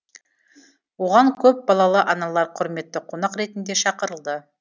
оған көпбалалы аналар құрметті қонақ ретінде шақырылды